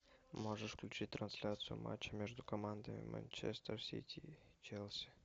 можешь включить трансляцию матча между командами манчестер сити и челси